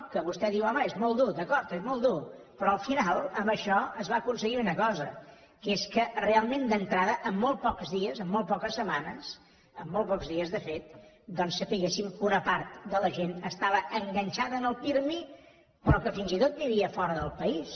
que vostè diu home és molt dur d’acord és molt dur però al final amb això es va aconseguir una cosa que és que realment d’entrada amb molt pocs dies amb molt poques setmanes amb molt pocs dies de fet doncs sabéssim que una part de la gent estava enganxada en el pirmi però que fins i tot vivia fora del país